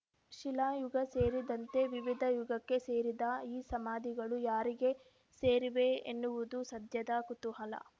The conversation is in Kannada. ಶಿಲಾಯುಗ ಸೇರಿದಂತೆ ವಿವಿಧ ಯುಗಕ್ಕೆ ಸೇರಿದ ಈ ಸಮಾಧಿಗಳು ಯಾರಿಗೆ ಸೇರಿವೆ ಎನ್ನುವುದು ಸದ್ಯದ ಕುತೂಹಲ